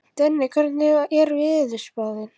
Denni, hvernig er veðurspáin?